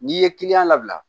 N'i ye kiliyan labila